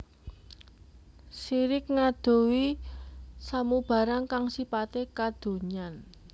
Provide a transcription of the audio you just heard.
Sirik ngadohi samubarang kang sipate kadonyan